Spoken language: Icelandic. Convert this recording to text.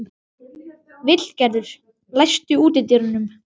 Vilgerður, læstu útidyrunum.